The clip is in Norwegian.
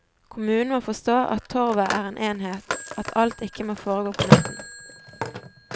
Kommunen må forstå at torvet er en enhet, at alt ikke må foregå på midten.